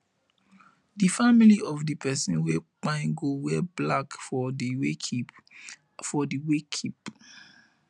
di family of di pesin wey kpai go wear black for di wakekeep for di wakekeep